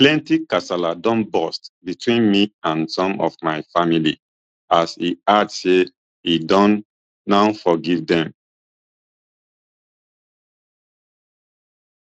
plenti kasala don burst between me and some of my family as e add say e don now forgive dem